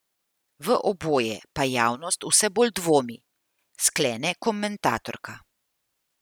V oboje pa javnost vse bolj dvomi, sklene komentatorka.